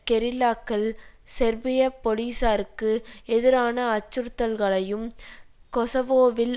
கெரில்லாக்கள் செர்பிய பொலிசாருக்கு எதிரான அச்சுறுத்தல்களையும் கொசவோவில்